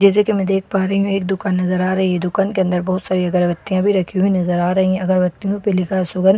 जैसा की मैं देख पा रही हूँ एक दुकान नजर आ रही हैं दुकान के अंदर बहुत सारी अगरवत्तियाँ भी रखी हुई नजर आ रही हैं अगरबतियों पे लिखा शुगर गुलाब --